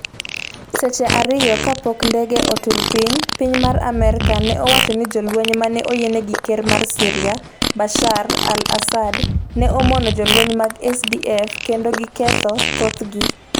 Seche ariyo kapok ndege otur piny, piny Amerka ne owacho ni jolweny mane oyiene gi ker mar Syria Bashar al-Assad ne omono jolweny mag SDF kendo giketho thothgi.